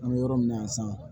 An bɛ yɔrɔ min na yan san